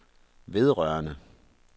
vedrørende